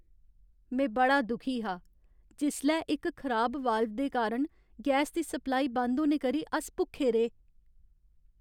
में बड़ा दुखी हा जिसलै इक खराब वाल्व दे कारण गैस दी सप्लाई बंद होने करी अस भुक्खे रेह्।